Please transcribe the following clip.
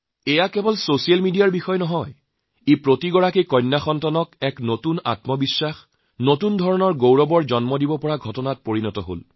ই কেৱল ছচিয়েল মিডিয়াৰে এটি বিষয় নহয় প্ৰতিগৰাকী কন্যাক এক নতুন আত্মবিশ্বাস নতুন গৰ্ব কৰাৰ দৰে ঘটনা হৈ উঠিছে